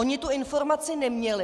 Oni tu informaci neměli.